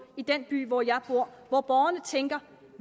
i den by hvor jeg bor og hvor borgerne tænker